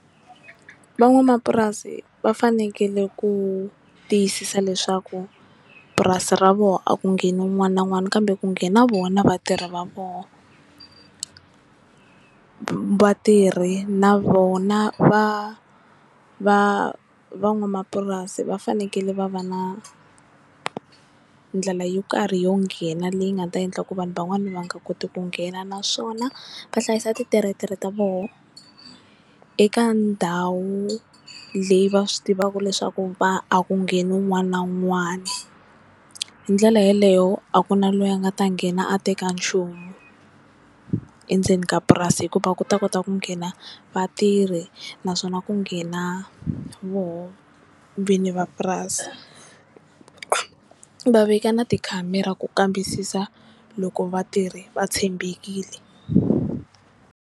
Van'wamapurasi va fanekele ku tiyisisa leswaku purasi ra vona a ku ngheni un'wana na un'wana kambe ku nghena vona na vatirhi va vona, vatirhi na vona va va van'wamapurasi va fanekele va va na ndlela yo karhi yo nghena leyi nga ta endla ku vanhu van'wana va nga koti ku nghena naswona va hlayisa ti tiretere ta vona eka ndhawu leyi va swi tivaka leswaku va a ku ngheni wun'wana na wun'wana hi ndlela yeleyo a ku na loyi a nga ta nghena a teka nchumu endzeni ka purasi hikuva ku ta kota ku nghena vatirhi naswona ku nghena voho vini va purasi va veka na tikhamera ku kambisisa loko vatirhi va tshembekile.